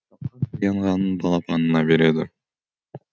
таянғанын балапанына береді